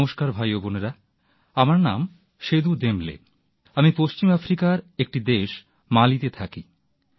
নমস্কার ভাই ও বোনেরা আমার নাম সেদু দেম্বলে আমি পশ্চিম আফ্রিকার একটি দেশ মালিতে থাকি